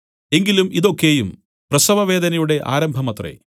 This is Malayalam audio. എങ്കിലും ഇതു ഒക്കെയും പ്രസവവേദനയുടെ ആരംഭമത്രേ